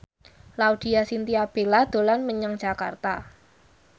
Laudya Chintya Bella dolan menyang Jakarta